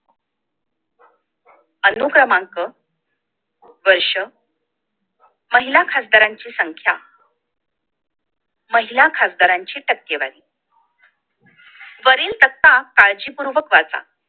अनुक्रमांक वर्ष महिला खासदारांची संख्या महिला खासदारांची टक्केवारी वरील तक्ता काळजीपूर्वक वाचा